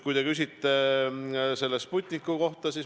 Te küsisite Sputniku kohta.